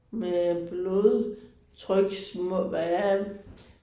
Med blodtryks må hvad er det